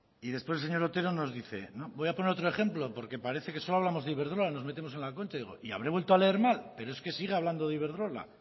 y después el señor otero nos dice voy a poner otro ejemplo porque parece que solo hablamos de iberdrola nos metemos en la concha y digo habré vuelto a leer mal pero es que sigue hablando de iberdrola